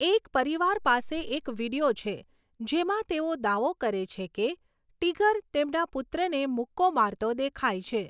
એક પરિવાર પાસે એક વીડિયો છે જેમાં તેઓ દાવો કરે છે કે 'ટિગર' તેમના પુત્રને મુક્કો મારતો દેખાય છે.